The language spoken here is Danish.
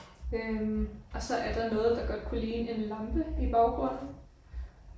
Øh og så er der noget der godt kunne ligne en lampe i baggrunden